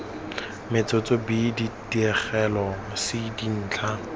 metsotso b dipegelo c dintlha